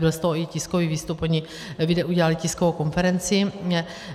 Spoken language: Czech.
Byl z toho i tiskový výstup, oni udělali tiskovou konferenci.